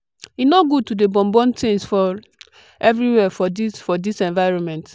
e no good to dey burn burn tins for everywhere for dis for dis environment.